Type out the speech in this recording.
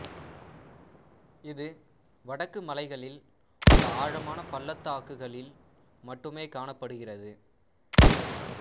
இது வடக்கு மலைகளில் உள்ள ஆழமான பள்ளத்தாக்குகளில் மட்டுமே காணப்படுகிறது